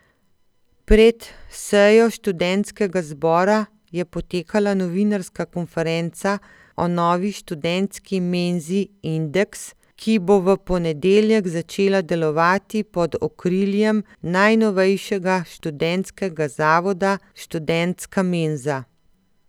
Pred sejo študentskega zbora je potekala novinarska konferenca o novi študentski menzi Indeks, ki bo v ponedeljek začela delovati pod okriljem najnovejšega študentskega zavoda Študentska menza.